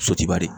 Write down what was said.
Sotigi bari